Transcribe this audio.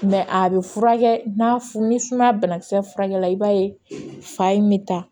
a bɛ furakɛ n'a f ni sumaya banakisɛ furakɛli i b'a ye fa in bɛ ta